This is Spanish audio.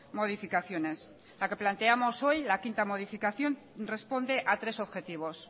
modificaciones la que planteamos hoy la quinta modificación responde a tres objetivos